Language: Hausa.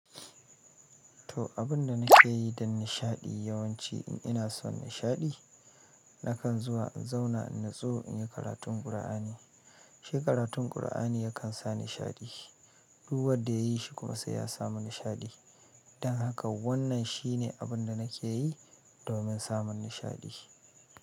To, abin da nake yi don nishaɗi yawanci in ina son nishaɗi, nakan zuwa in zauna in nutso in yi karatun Kur'ani. Shi karatun Kur'ani yakan sa nishaɗi. Duk wanda ya yi shi sai ya samu nishadi. Dan haka wannan shine abin da nake yi domin samun nishaɗi.